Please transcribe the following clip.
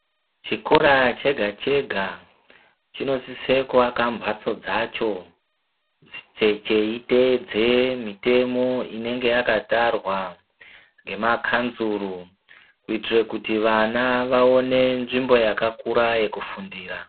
Chikora chega chega chinosisa kuvaka mbatso dzacho cheitedza mitemo inenge yakatarwa nemakanzuru kuitira kuti vana vaone nzvimbo yakakura yekufundira.